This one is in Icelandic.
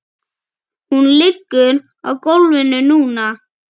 Hún liggur á gólfinu núna.